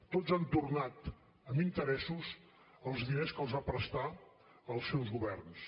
tots han tornat amb interessos els diners que els van prestar els seus governs